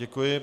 Děkuji.